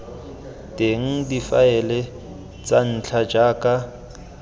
teng difaele tsa ntlha jaaka